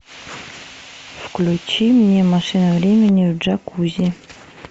включи мне машина времени в джакузи